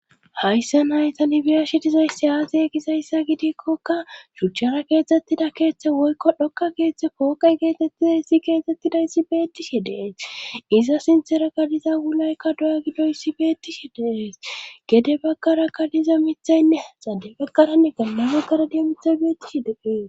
hayssan hay tani beyashe dizayssi aazee gizayssa gidikkokka shuchchara keexxettida keeththe woykko dhokka keeththe pooqay geetettiza issi geexxettidayssi beettishi deees iza sinthera kaliza wulaykka doya gidoyssi beettishi de7ees gede baggara kaliza mithaynne xade baggaranne bolla baggara daro mithay beettishe de7ees